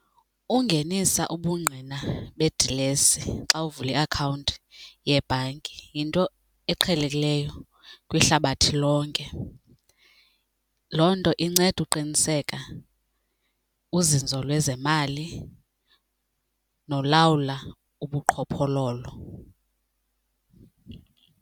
Ungenisa ubungqina bedilesi xa uvula iakhawunti yebhanki yinto eqhelekileyo kwihlabathi lonke. Loo nto inceda uqiniseka uzinzo lwezemali nolawula ubuqhophololo.